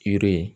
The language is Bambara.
Yiri ye